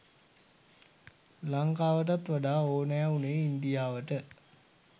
ලංකාවටත් වඩා ඕනෑ වුණේ ඉන්දියාවට